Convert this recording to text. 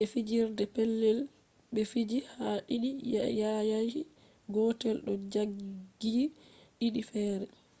je fijirde petel be fiji ha didi yanayi gotel do zagiyi didi fere